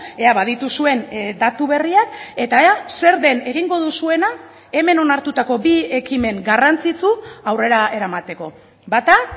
ea badituzuen datu berriak eta ea zer den egingo duzuena hemen onartutako bi ekimen garrantzitsu aurrera eramateko bata